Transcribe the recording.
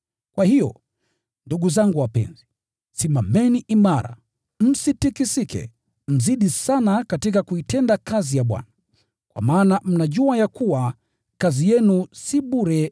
Kwa hiyo, ndugu zangu wapenzi, simameni imara, msitikisike, mzidi sana katika kuitenda kazi ya Bwana, kwa maana mnajua ya kuwa, kazi yenu katika Bwana si bure.